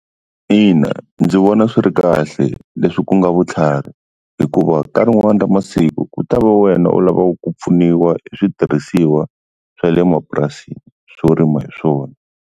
Ina ndzi vona swi ri kahle leswi ku nga vutlhari hikuva ka rin'wani ra masiku ku ta va wena u lavaka ku pfuniwa hi switirhisiwa swa le mapurasini swo rima hi swona.